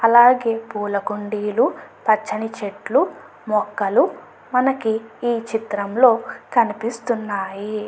అలాగే పూల కుండీలు పచ్చని చెట్లు మొక్కలు మనకి ఈ చిత్రంలో కనిపిస్తున్నయి.